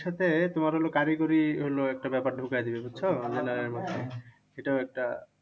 এর সাথে তোমার হলো গাড়ি গড়ি একটা ব্যাপার ঢুকাই দিলো বুঝছো? এটাও একটা